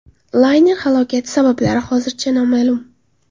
Layner halokati sabablari hozircha noma’lum.